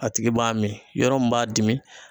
A tigi b'a mi, yɔrɔ min b'a dimi